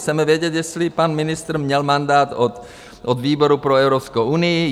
Chceme vědět, jestli pan ministr měl mandát od výboru pro Evropskou unii.